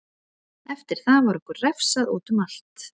Eftir það var okkur refsað útum allt.